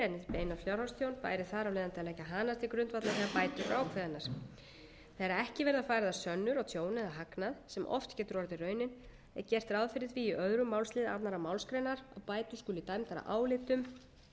til grundvallar þegar bætur eru ákveðnar þegar ekki verða færðar sönnur á tjón eða hagnað sem oft getur orðið raunin er gert ráð fyrir því í öðrum málsl annarri málsgrein að bætur skuli dæmdar að álitum